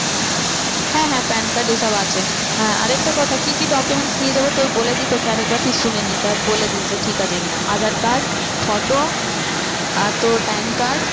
হ্যাঁ হ্যাঁ PAN card এ সব আছে। হ্যাঁ আর একটা কথা কি কি documents নিয়ে যাবো তোর বলে দিই তোকে তুই আর একবার শুনে নে তারপর বলে দিস যে ঠিক আছে কি না aadhaar card, photo আর তোর PAN card